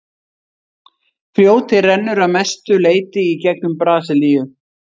fljótið rennur að mestu leyti í gegnum brasilíu